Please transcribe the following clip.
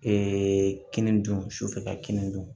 Ee kini dun sufɛ ka kini dun